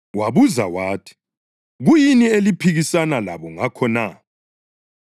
Wabuza wathi, “Kuyini eliphikisana labo ngakho na?”